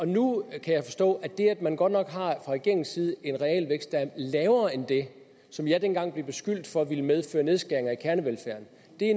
nu kan jeg forstå at det at man godt nok fra regeringens side en realvækst der er lavere end det som jeg dengang blev beskyldt for ville medføre nedskæringer i kernevelfærden